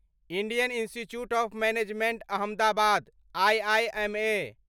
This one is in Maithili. Indian Institute of Management Ahmedabad IIMA